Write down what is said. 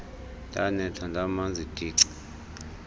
ndanetha ndamanzi tici